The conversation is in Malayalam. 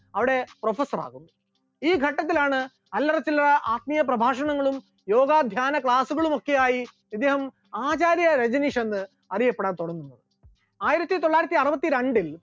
അവിടെ professor ആകുന്നു, ഈ ഘട്ടത്തിലാണ് അല്ലറചില്ലറ ആത്മീയ പ്രഭാക്ഷണങ്ങളും യോഗ ധ്യാന class കളുമൊക്കെയായി അദ്ദേഹം ആചാര്യ രജനീഷ് എന്ന് അറിയപ്പെടാൻ തുടങ്ങുന്നത്, ആയിരത്തിത്തൊള്ളായിരത്തി അറുപത്തിരണ്ടിൽ